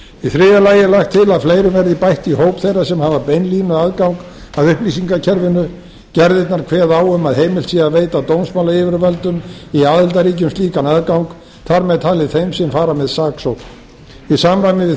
í þriðja lagi er lagt til að fleirum verði bætt í hóp þeirra sem hafa beinlínuaðgang að upplýsingakerfinu gerðirnar kveða á um að heimilt sé að veita dómsmálayfirvöldum í aðildarríkjum slíkan aðgang þar með talið þeim sem fara með saksókn í samræmi við